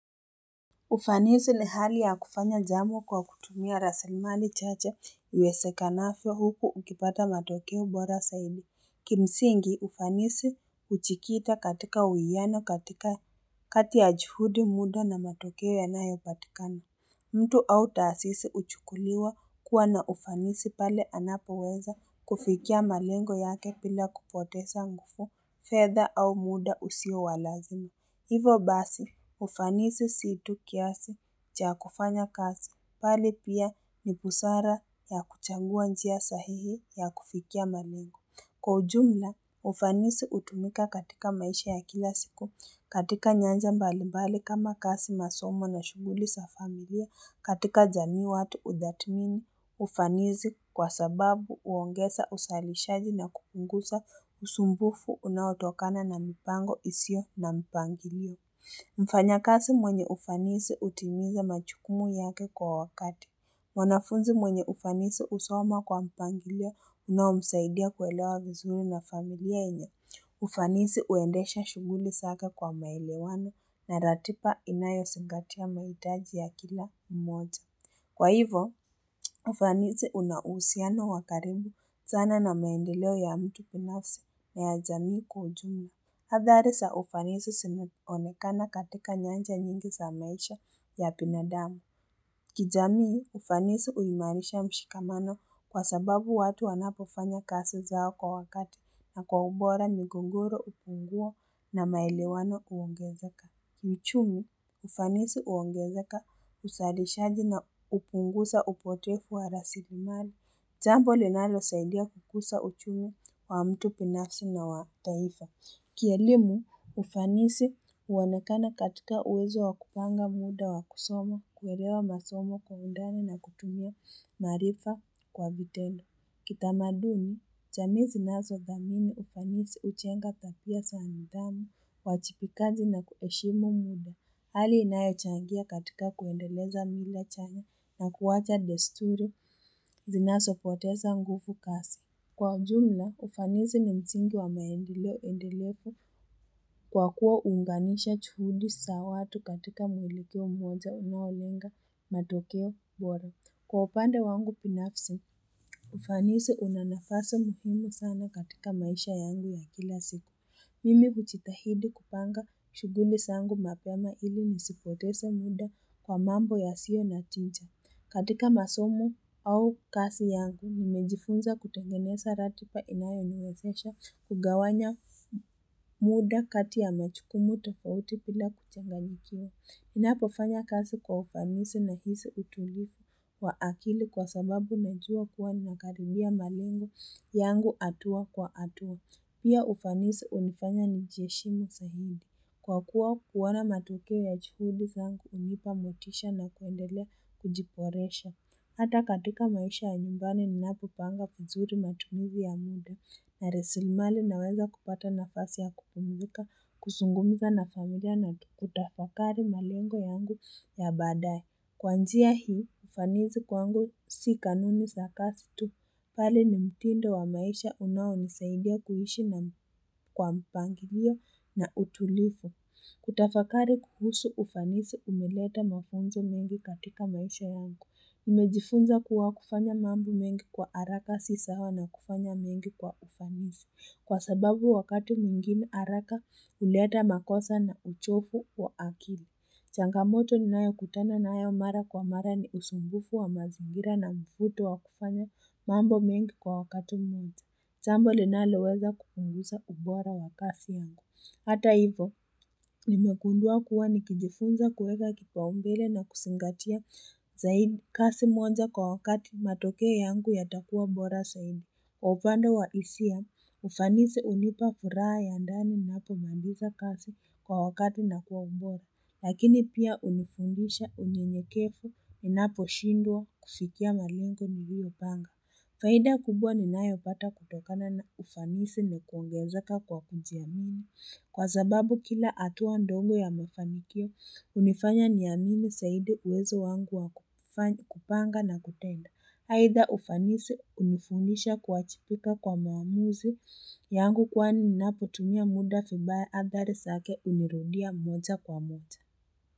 Ufanisi ni hali ya kufanya jambo kwa kutumia rasilimali chache iwezekanavyo huku ukipata matokeo bora zaidi. Kimsingi ufanisi hujikita katika uwiano katika kati ya juhudi muda na matokeo yanayopatikana. Mtu au taasisi huchukuliwa kuwa na ufanisi pale anapoweza kufikia malengo yake bila kupoteza nguvu fedha au muda usio wa lazima. Hivo basi, ufanisi si tu kiasi cha kufanya kazi, bali pia ni busara ya kuchagua njia sahihi ya kufikia malengo. Kwa ujumla, ufanisi hutumika katika maisha ya kila siku, katika nyanja mbali mbali kama kazi, masomo na shughuli za familia, katika jamii watu hutathmini, ufanisi kwa sababu huongeza uzalishaji na kupunguza usumbufu unaotokana na mipango isiyo na mpangilio. Mfanyakazi mwenye ufanisi hutimiza majukumu yake kwa wakati. Mwanafunzi mwenye ufanisi husoma kwa mpangilio unaomsaidia kuelewa vizuri na familia yenye. Ufanisi huendesha shughuli zake kwa maelewano na ratiba inayozingatia mahitaji ya kila mmoja. Kwa hivo, ufanisi una uhusiano wa karibu sana na maendeleo ya mtu binafsi na ya jamii kwa ujumla. Hadhari za ufanisi zimeonekana katika nyanja nyingi za maisha ya binadamu kijamii ufanisi huimarisha mshikamano kwa sababu watu wanapofanya kazi zao kwa wakati na kwa ubora migogoro hupungua na maelewano huongezeka kiuchumi ufanisi huongezeka uzalishaji na hupunguza upotefu wa rasilimali. Jambo linalosaidia kukuza uchumi wa mtu binafsi na wa taifa Kielimu, ufanisi huoanekana katika uwezo wa kupanga muda wa kusoma kuelewa masomo kwa undani na kutumia marifa kwa vitendo. Kitamaduni, jamii zinazo dhamini ufanisi hujenga tabia za nidhamu, uwajibikaji na kuheshimu muda. Hali inayochangia katika kuendeleza mila chanya na kuwacha desturi zinazopoteza nguvu kasi. Kwa ujumla, ufanisi ni msingi wa maendeleo endelevu kwa kuwa huunganisha juhudi za watu katika muelekeo mmoja unaolenga matokeo bora. Kwa upande wangu binafsi, ufanisi una nafasi muhimu sana katika maisha yangu ya kila siku. Mimi hujitahidi kupanga shughuli zangu mapema ili nisipoteze muda kwa mambo yasio na tija. Katika masomo au kazi yangu, nimejifunza kutengeneza ratiba inayoniwezesha kugawanya muda kati ya majukumu tofauti bila kuchanganyikiwa. Ninapofanya kazi kwa ufanisi nahisi utulivu wa akili kwa sababu najua kuwa ninakaribia malengo yangu hatua kwa hatua. Pia ufanisi hunifanya nijieshimu zaidi. Kwa kuwa kuona matokeo ya juhudi zangu hunipa motisha na kuendelea kujiboresha. Hata katika maisha ya nyumbani ninapopanga vizuri matumizi ya muda. Na rasilimali naweza kupata nafasi ya kupumzika kuzungumza na familia na kutafakari malengo yangu ya badaye. Kuanzia hii ufanisi kwangu si kanuni za kazi kasi tu. Bali ni mtindo wa maisha unao nisaidia kuishi na kwa mpangilio na utulivu. Kutafakari kuhusu ufanisi umeleta mafunzo mengi katika maisha yangu. Nimejifunza kuwa kufanya mambo mengi kwa haraka si sawa na kufanya mengi kwa ufanisi. Kwa sababu wakati mwingine haraka huleta makosa na uchovu wa akili. Changamoto ninayo kutana nayo mara kwa mara ni usumbufu wa mazingira na mvuto wa kufanya mambo mengi kwa wakati mmoja. Jambo linaloweza kupunguza ubora wa kazi yangu. Hata hivo, nimegundua kuwa nikijifunza kuweka kipaumbele na kuzingatia zaidi kazi moja kwa wakati matokeo yangu yatakuwa bora zaidi. Kwa upande wa hisia, ufanisi hunipa furaha ya ndani ninapomaliza kazi kwa wakati na kuwa bora. Lakini pia hunifundisha unyenyekevu ninapo shindwa kufikia malengo niliyopanga. Faida kubwa ninayo pata kutokana na ufanisi ni kuongezeka kwa kujiamini. Kwa sababu kila hatua ndogo ya mafanikio, hunifanya niamini zaidi uwezo wangu wa kupanga na kutenda. Aidha ufanisi hunifundisha kuwajibika kwa maamuzi yangu kwani ninapotumia muda vibaya adhari zake hunirudia moja kwa moja.